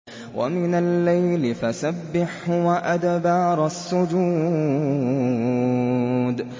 وَمِنَ اللَّيْلِ فَسَبِّحْهُ وَأَدْبَارَ السُّجُودِ